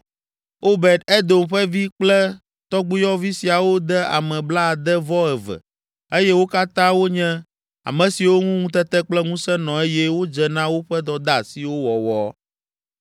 Obed Edom ƒe vi kple tɔgbuiyɔvi siawo de ame blaade-vɔ-eve eye wo katã wonye ame siwo ŋu ŋutete kple ŋusẽ nɔ eye wodze na woƒe dɔdeasiwo wɔwɔ.